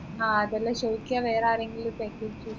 അതല്ല ചോയിക്കയാ വേറാരെങ്കിലും ഇ package